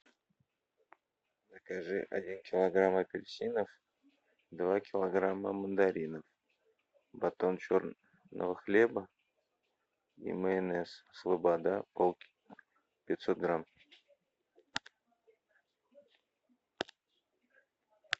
закажи один килограмм апельсинов два килограмма мандаринов батон черного хлеба и майонез слобода пятьсот грамм